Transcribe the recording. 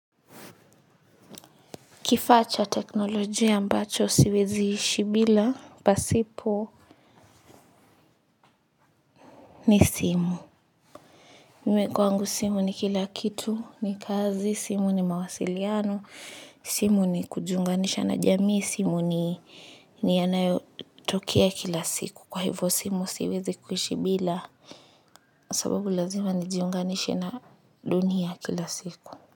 Kifaa cha teknolojia ambacho siwezi ishi bila, pasipo ni simu. Mimi kwangu simu ni kila kitu ni kazi, simu ni mawasiliano, simu ni kujiunganisha na jamii, simu ni ni yanayotokea kila siku. Kwa hivo simu siwezi kuishi bila, sababu lazima nijiunganishe na dunia kila siku.